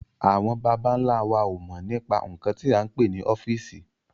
Àwọn bàbà ńla wa ó mọ nípa nkan tí a ń pè ní ọ́fíìsì